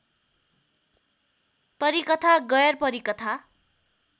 परिकथा गैरपरिकथा